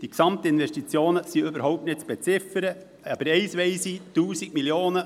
Die Gesamtinvestitionen sind überhaupt nicht zu beziffern, aber eines weiss ich: